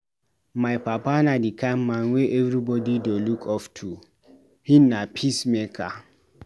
My papa na di kind man wey everybodi dey look up to, him na peacemaker.